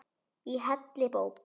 Í heilli bók.